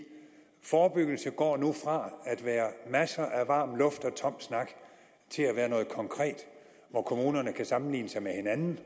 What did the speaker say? forebyggelse nu går fra at være masser af varm luft og tom snak til at være noget konkret hvor kommunerne kan sammenligne sig med hinanden